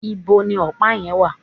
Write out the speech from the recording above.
íbo ni ọ̀pá yẹn wà?